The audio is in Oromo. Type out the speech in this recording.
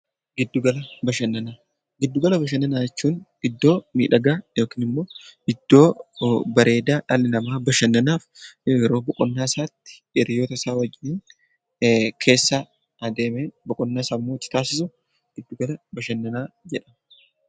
Giddu gala bashannanaa jechuun iddoo miidhagaa yookiin iddoo bareedaa dhalli namaa bashannanaaf yeroo boqonnaa isaatti Hiriyoota isaa waliin adeemee boqonnaa sammuu itti taasisu giddu gala bashannanaa jennaan .